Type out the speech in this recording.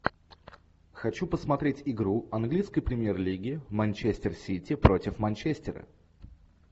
хочу посмотреть игру английской премьер лиги манчестер сити против манчестера